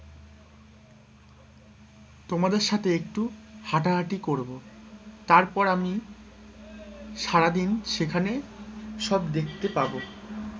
তোমাদের সাথে একটু হাঁটাহাঁটি করবো, তারপর আমি সারাদিন সেখানে সব দেখতে পাবো,